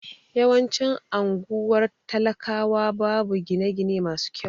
Yawancin anguwar talakawa babu gine gine masu kyau